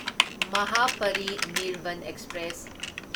Mahaparinirvan express